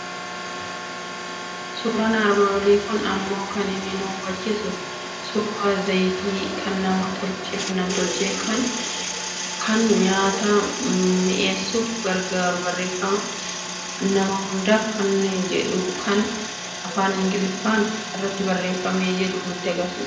Suuraan armaan olii kun immoo kan inni nu hubachiisu suuraa zayita nam tolchee, kan nyaata miny'eessuuf gargaaru, barreeffama nama hundaaf kan jedhu kan afaan Ingiliffaan irratti barreeffamee jiru kan nutti argisiisudha.